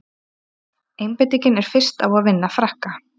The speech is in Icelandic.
Einbeitingin er fyrst á að vinna Frakka.